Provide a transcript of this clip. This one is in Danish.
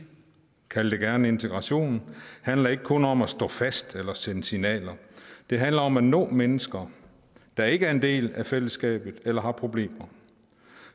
kald det gerne integration handler ikke kun om at stå fast eller sende signaler det handler om at nå mennesker der ikke er en del af fællesskabet eller har problemer